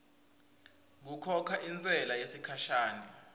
kukhokha intsela yesikhashana